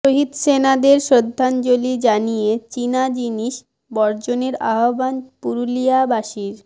শহিদ সেনাদের শ্রদ্ধাঞ্জলি জানিয়ে চিনা জিনিস বর্জনের আহ্বান পুরুলিয়াবাসির